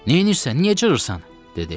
Neynirsən? Niyə cırırsan? dedi.